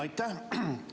Aitäh!